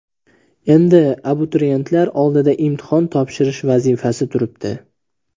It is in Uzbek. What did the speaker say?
Endi abituriyentlar oldida imtihon topshirish vazifasi turibdi.